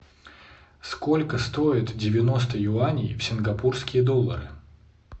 сколько стоит девяносто юаней в сингапурские доллары